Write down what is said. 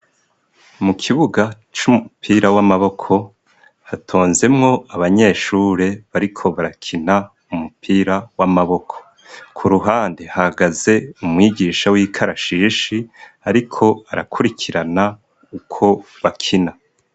Mu kibuga c'umupira w'amaboko, hatonzemwo abanyeshure bariko barakina umupira w'amaboko. Ku ruhande hagaze umwigisha w'ikarashishi, ariko arakurikirana uko bakina.